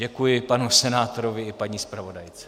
Děkuji panu senátorovi i paní zpravodajce.